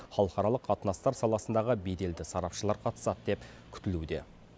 халықаралық қатынастар саласындағы беделді сарапшылар қатысады деп күтілуде